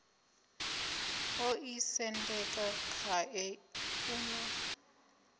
o ḓisendeka khae u na